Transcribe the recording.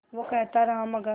वो कहता रहा मगर